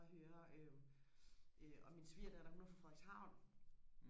og høre øh øh og min svigerdatter hun er fra Frederikshavn